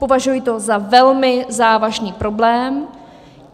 Považuji to za velmi závažný problém.